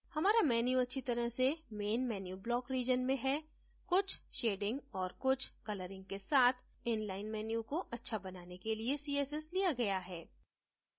हमारा menu अच्छी तरह से main menu block region में है कुछ shading और कुछ colouring के साथ inline menu को अच्छा बनाने के लिए css लिया गया है